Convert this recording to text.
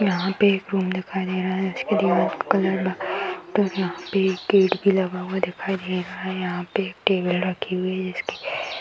यहाँ पे एक रूम दिखाई दे रहा है। जिसकी दीवाल का कलर वाइट और यहाँ पे एक गेट भी लगा हुआ दिखाई दे रहा है। यहाँ पे एक टेबल रखी हुई जिसकी --